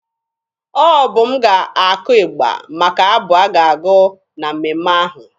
Ọ bụ m ga-akụ ịgba maka abụ a ga-agụ na mmemme ahụ.